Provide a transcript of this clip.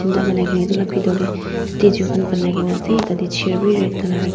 etola betor teh statue kan ponaikina ase tati chair beh red colour rakina.